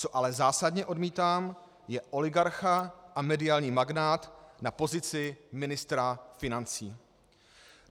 Co ale zásadně odmítám, je oligarcha a mediální magnát na pozici ministra financí.